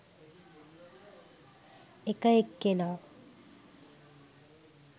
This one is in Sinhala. එක එක්කෙනා